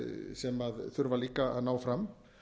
sem þurfa líka að ná fram